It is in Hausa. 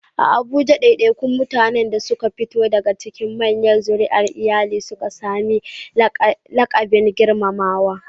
A Abuja, ɗaiɗaikun mutanen da suka fito daga cikin manyan zuri'ar iyali sukan sami laƙabin girmamawa.